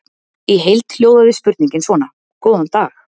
Í heild hljóðaði spurningin svona: Góðan dag.